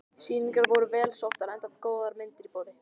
Sýningarnar voru vel sóttar enda góðar myndir í boði.